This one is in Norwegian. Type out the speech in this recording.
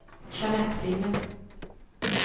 Jeanett Finne